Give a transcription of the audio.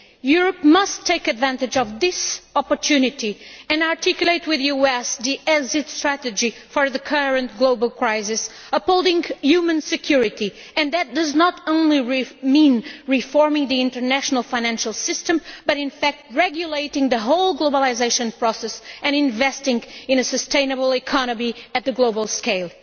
Europe must take advantage of this opportunity and articulate with the US the exit strategy for the current global crisis, upholding human security and that does not only mean reforming the international financial system but regulating the whole globalisation process and investing in a sustainable economy at the global scale.